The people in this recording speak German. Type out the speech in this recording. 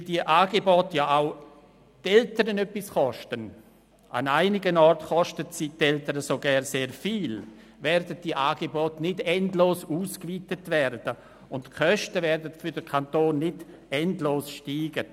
Weil die Angebote für die Eltern kosten – an einigen Orten kosten diese sogar sehr viel –, werden diese Angebote nicht endlos ausgeweitet, und die Kosten werden für den Kanton nicht endlos steigen.